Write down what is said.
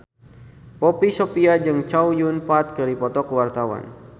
Poppy Sovia jeung Chow Yun Fat keur dipoto ku wartawan